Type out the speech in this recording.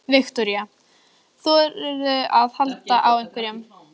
Viktoría: Þorðirðu að halda á einhverjum?